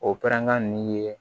O pɛrɛnkan nin ye